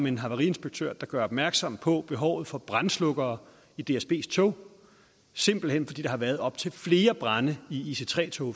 en havariinspektør der gør opmærksom på behovet for brandslukkere i dsbs tog simpelt hen fordi der har været op til flere brande i ic3 tog